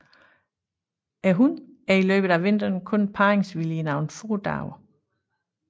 Hunnen er i løbet af vinteren kun parringsvillig i nogle få dage